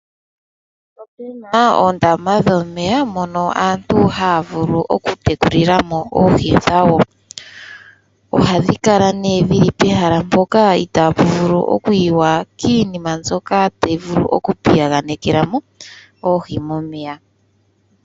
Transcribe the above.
Ope na oondama dhomeya mono aantu haya vulu okutekulila mo oohi dhawo. Ohadhi kala nee dhi li pehala mpoka itaa pu vulu okuyiwa kiinima mbyoka tayi vulu okupiyaganekela mo oohi momeya.